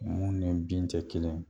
Mun ni bin te kelen ye